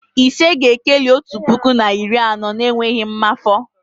Ise ga-ekeli otu puku na iri anọ n'enweghị mmafọ